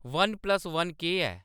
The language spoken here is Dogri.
वन प्लस वन केह्‌‌ ऐ